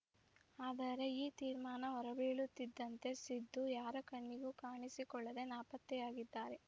ಆದರೆ ಈ ತೀರ್ಮಾನ ಹೊರಬೀಳುತ್ತಿದ್ದಂತೆ ಸಿದ್ಧು ಯಾರ ಕಣ್ಣಿಗೂ ಕಾಣಿಸಿಕೊಳ್ಳದೆ ನಾಪತ್ತೆಯಾಗಿದ್ದಾರೆ